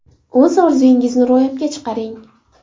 O‘z orzungizni ro‘yobga chiqaring!